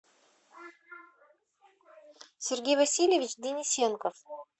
сергей васильевич денисенко